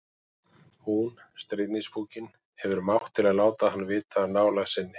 Hún, stríðnispúkinn, hefur mátt til að láta hann vita af nálægð sinni.